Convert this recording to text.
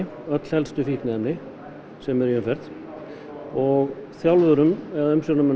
öll helstu fíkniefni sem eru í umferð og þjálfurum eða umsjónarmönnum